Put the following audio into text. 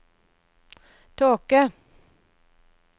tåke